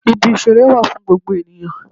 Ibi ìṣeré wà fún gbogbo ènìyàn